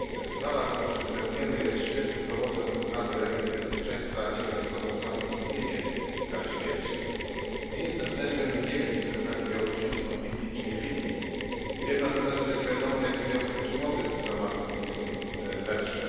Sprawa, którą się zajmujemy, jest świetnym dowodem na to, jakie niebezpieczeństwa niesie ze sobą samo istnienie kary śmierci. Nie jestem sędzią i nie wiem, czy skazani Białorusini są winni czy nie. Wiem natomiast, że nie wiadomo, jaki miałby być motyw zamachów w mińskim metrze.